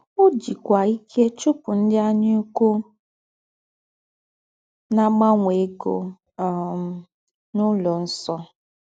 Ọ́ jìkwá íkè chúpụ̀ ńdị́ ànyàùkwù ná-àgbànwè égó um n’ụlọ̀ nsọ̀.